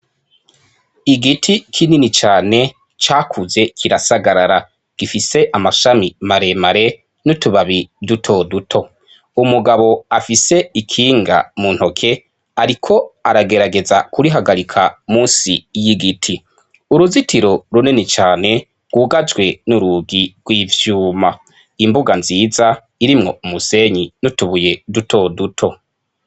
Igiti kinini cane, cakuze kirasagarara. Gifise amashami maremare, n'utubabi dutoduto. Umugabo afise ikinga mu ntoke, ariko aragerageza kurihagarika munsi y'igiti. Uruzitiro runini cane rwugajwe n'urugi rw'ivyuma. Imbuga nziza, irimwo umusenyi n'utubuye dutoduto.